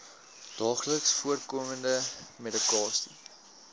daagliks voorkomende medikasie